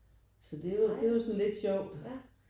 Så det jo det er jo sådan lidt sjovt